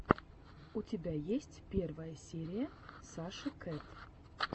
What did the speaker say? у тебя есть первая серия саши кэт